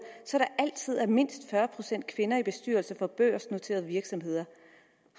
så der altid er mindst fyrre procent kvinder i bestyrelser for børsnoterede virksomheder